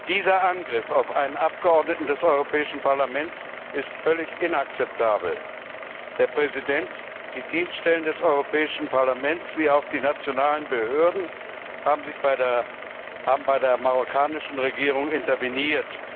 Dieser Angriff auf ein Mitglied des Europäischen Parlaments ist völlig inakzeptabel. Der Präsident, die Dienststellen des Europäischen Parlaments wie auch die nationalen Behörden haben bei der marokkanischen Regierung interveniert.